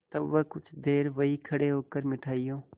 तब वह कुछ देर वहीं खड़े होकर मिठाइयों